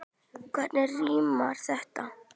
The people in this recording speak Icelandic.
Hvernig rímar þetta?